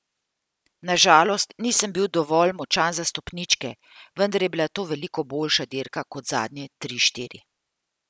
Na žalost nisem bil dovolj močan za stopničke, vendar je bila to veliko boljša dirka kot zadnje tri, štiri.